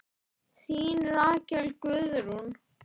Þín Rakel Guðrún.